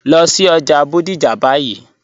Lọ sí ọjà Bodija báyì.